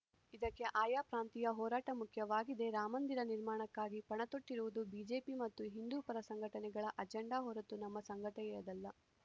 ಇದಕ್ಕೆ ಆಯಾ ಪ್ರಾಂತೀಯ ಹೋರಾಟ ಮುಖ್ಯವಾಗಿದೆ ರಾಮಂದಿರ ನಿರ್ಮಾಣಕ್ಕಾಗಿ ಪಣತೊಟ್ಟಿರುವುದು ಬಿಜೆಪಿ ಮತ್ತು ಹಿಂದೂ ಪರ ಸಂಘಟನೆಗಳ ಅಜೆಂಡಾ ಹೊರತು ನಮ್ಮ ಸಂಘಟನೆಯದಲ್ಲ